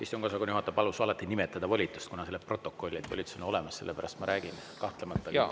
Istungiosakonna juhataja palus alati nimetada volitust, kuna see läheb protokolli, et volitus on olemas, sellepärast ma räägin, kahtlemata teis.